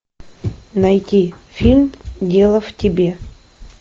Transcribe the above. найди фильм дело в тебе